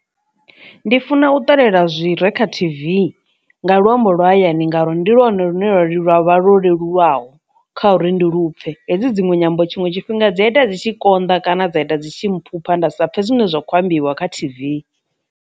Ndi funa u ṱalela zwire kha t_v nga luambo lwa hayani ngauri ndi lwanu lune lwavha ḽo leluwaho kha uri ndi lupfhe, hedzi dzinwe nyambo tshiṅwe tshifhinga dzi a ita dzi tshi konḓa kana dza ita dzi tshi mpha nda sa pfhe zwine zwa khou ambiwa kha t_v.